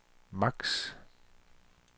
maks